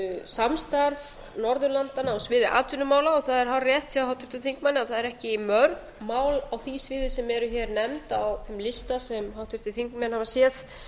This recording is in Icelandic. samstarf norðurlandanna á sviði atvinnumála það er hárrétt hjá háttvirtum þingmanni að það eru ekki mörg mál á því sviði sem eru hér nefnd á þeim lista sem háttvirtir þingmenn hafa séð